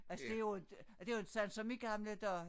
Altså det jo inte det jo inte sådan som i gamle dage